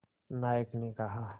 नायक ने कहा